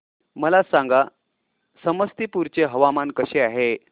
मला सांगा समस्तीपुर चे हवामान कसे आहे